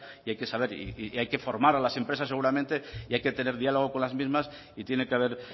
y hay que saber y hay que formar a las empresas seguramente y hay que tener diálogo con las mismas y tiene que haber